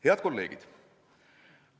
Head kolleegid!